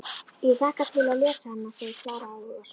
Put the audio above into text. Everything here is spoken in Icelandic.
Ég hlakka til að lesa hana, segir Klara áhugasöm.